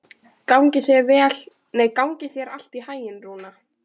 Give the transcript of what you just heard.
Gangi þér allt í haginn, Rúna.